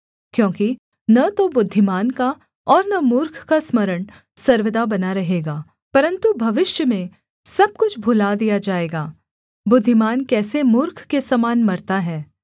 क्योंकि न तो बुद्धिमान का और न मूर्ख का स्मरण सर्वदा बना रहेगा परन्तु भविष्य में सब कुछ भूला दिया जाएगा बुद्धिमान कैसे मूर्ख के समान मरता है